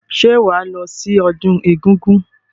Ṣé wàá lọ sí ọdún egúngún?